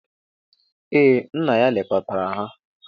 Ee, nna ya lekọtara ha.